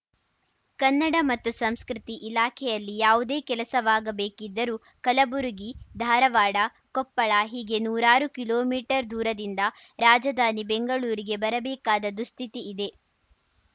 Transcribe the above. ಕನ್ನಡ ಮತ್ತು ಸಂಸ್ಕೃತಿ ಇಲಾಖೆಯಲ್ಲಿ ಯಾವುದೇ ಕೆಲಸವಾಗಬೇಕಿದ್ದರೂ ಕಲಬುರಗಿ ಧಾರವಾಡ ಕೊಪ್ಪಳ ಹೀಗೆ ನೂರಾರು ಕಿಲೋಮೀಟರ್‌ ದೂರದಿಂದ ರಾಜಧಾನಿ ಬೆಂಗಳೂರಿಗೆ ಬರಬೇಕಾದ ದುಸ್ಥಿತಿ ಇದೆ